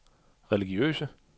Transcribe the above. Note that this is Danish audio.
religiøse